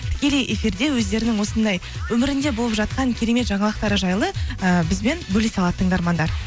тікелей эфирде өздерінің осындай өмірінде болып жатқан керемет жаңалықтары жайлы ііі бізбен бөлісе алады тыңдармандар